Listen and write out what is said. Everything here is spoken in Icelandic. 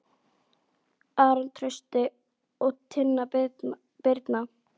Aron Trausti og Tinna Birna.